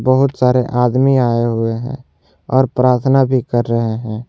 बहुत सारे आदमी आए हुए हैं और प्रार्थना भी कर रहे हैं।